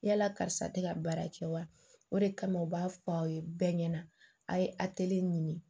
Yala karisa tɛ ka baara kɛ wa o de kama u b'a fɔ aw ye bɛɛ ɲɛna a ye ɲini